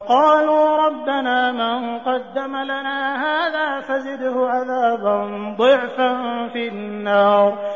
قَالُوا رَبَّنَا مَن قَدَّمَ لَنَا هَٰذَا فَزِدْهُ عَذَابًا ضِعْفًا فِي النَّارِ